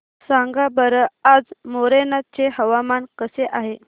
सांगा बरं आज मोरेना चे हवामान कसे आहे